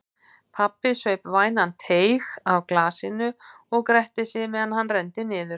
Pabbi saup vænan teyg af glasinu og gretti sig meðan hann renndi niður.